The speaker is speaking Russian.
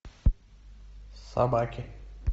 собаки